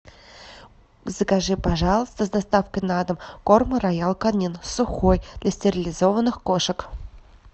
закажи пожалуйста с доставкой на дом корм роял канин сухой для стерилизованных кошек